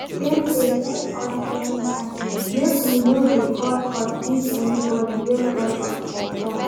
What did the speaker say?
Dem dey tell us everytime make we no dey call code give anybody wey call us for phone